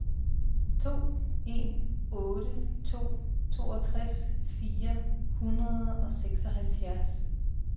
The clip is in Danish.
to en otte to toogtres fire hundrede og seksoghalvfjerds